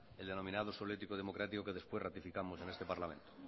el denominado suelo ético y democrático que después ratificamos en este parlamento